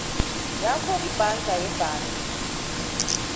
yakho yebhanka ibhanka